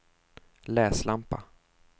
läslampa